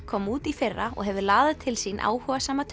kom út í fyrra og hefur laðað til sín áhugasama